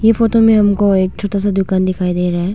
ये फोटो में हमको एक छोटा सा दुकान दिखाई दे रहा है।